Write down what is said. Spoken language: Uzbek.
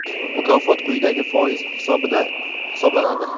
mukofot quyidagi foiz hisobida hisoblanadi:.